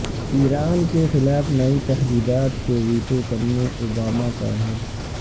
ایران کے خلاف نئی تحدیدات کو ویٹو کرنے اوباما کا عہد